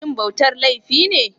Shin bautar laifi ne?